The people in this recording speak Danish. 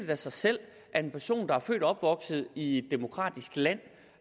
da sig selv at en person der er født og opvokset i et demokratisk land